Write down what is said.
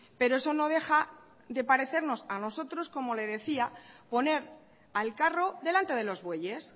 pero eso no deja de parecernos a nosotros como le decía poner al carro delante de los bueyes